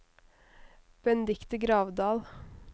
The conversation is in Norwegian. Benedicte Gravdal